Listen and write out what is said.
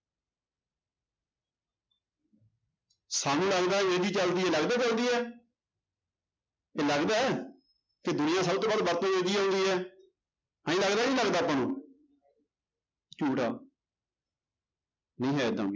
ਸਾਨੂੰ ਲੱਗਦਾ ਅੰਗਰੇਜ਼ੀ ਚੱਲਦੀ ਹੈ ਲੱਗਦਾ ਚੱਲਦੀ ਹੈ ਇਹ ਲੱਗਦਾ ਹੈ ਕਿ ਦੁਨੀਆਂ ਸਭ ਤੋਂ ਵੱਧ ਵਰਤੋਂ ਇਹੀ ਆਉਂਦੀ ਹੈ ਆਈਂ ਲੱਗਦਾ, ਨਹੀਂ ਲੱਗਦਾ ਆਪਾਂ ਨੂੰ ਝੂਠ ਆ ਨਹੀਂ ਹੈ ਏਦਾਂ।